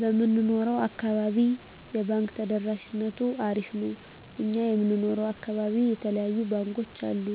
በምንኖረው አካባቢ የባንክ ተደራሽነቱ አሪፍ ነው እኛ የምንኖረው አካባቢ የተለያዩ ባንኮች አሉ